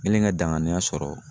Ŋɛlen ka danganiya sɔrɔ